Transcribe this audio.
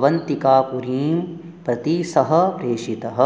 अवन्तिकापुरीं प्रति सः प्रेषितः